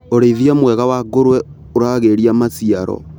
ũrĩithia mwega wa ngũruwe ũragĩria maciaro.